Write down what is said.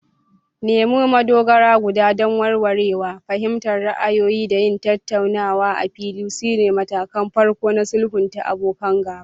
Nemo madogara guda don warwarewa, fahimtar ra'ayoyi, da yin tattaunawa a fili sune matakan farko na sulhunta abokan gaba.